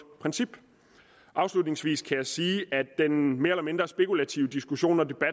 princip afslutningsvis kan jeg sige at den mere eller mindre spekulative diskussion og